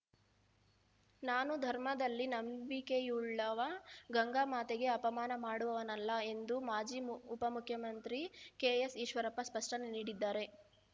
ನಾನು ಧರ್ಮದಲ್ಲಿ ನಂಬಿಕೆಯುಳ್ಳವ ಗಂಗಾ ಮಾತೆಗೆ ಅಪಮಾನ ಮಾಡುವವನಲ್ಲ ಎಂದು ಮಾಜಿ ಮು ಉಪಮುಖ್ಯಮಂತ್ರಿ ಕೆಎಸ್‌ಈಶ್ವರಪ್ಪ ಸ್ಪಷ್ಟನೆ ನೀಡಿದ್ದಾರೆ